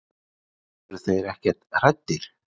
Eru þeir ekkert hræddir?